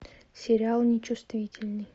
сериал нечувствительный